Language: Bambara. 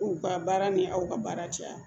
U ka baara ni aw ka baara cɛya